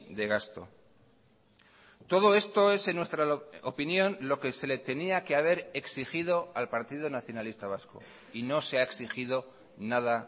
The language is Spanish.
de gasto todo esto es en nuestra opinión lo que se le tenía que haber exigido al partido nacionalista vasco y no se ha exigido nada